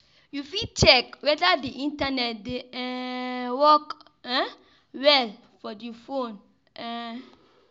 You fit check weda di Internet dey um work um well for the phone um